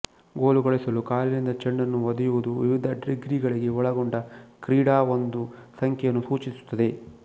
goal ಗಳಿಸಲು ಕಾಲಿನಿಂದ ಚೆಂಡನ್ನು ಒದೆಯುವುದು ವಿವಿಧ ಡಿಗ್ರಿಗಳಿಗೆ ಒಳಗೊಂಡ ಕ್ರೀಡಾ ಒಂದು ಸಂಖ್ಯೆಯನ್ನು ಸೂಚಿಸುತ್ತದೆ